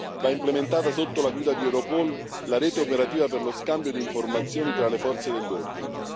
Va implementata, sotto la guida di Europol, la rete operativa per lo scambio di informazioni tra le forze dell'ordine.